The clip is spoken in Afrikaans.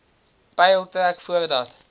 peil trek voordat